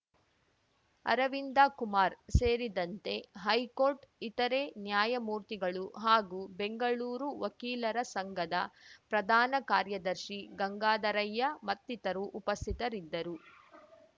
ಅರವಿಂದ ಕುಮಾರ್‌ ಸೇರಿದಂತೆ ಹೈಕೋರ್ಟ್‌ ಇತರೆ ನ್ಯಾಯಮೂರ್ತಿಗಳು ಹಾಗೂ ಬೆಂಗಳೂರು ವಕೀಲರ ಸಂಘದ ಪ್ರಧಾನ ಕಾರ್ಯದರ್ಶಿ ಗಂಗಾಧರಯ್ಯ ಮತ್ತಿತರು ಉಪಸ್ಥಿತರಿದ್ದರು